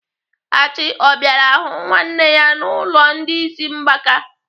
Achị ọ bịara hụ nwanne ya n'ụlọ ndị ịsị mgbaka?